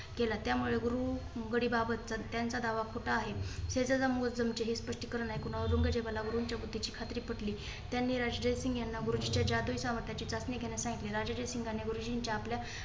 केला. त्यामुळे गुरु बारी बाबत त्यांचा दावा खोटा आहे. हे ही स्पष्टीकरण ऐकून औरंगजेबाला गुरूंच्या बुद्धीची खात्री पटली. त्यांनी राजा जयसिंग यांना गुरूंजीच्या जादुई सामर्थांची चाचणी घ्यायला सांगितली. राजा जयसिंघानी गुरुजींच्या आपल्या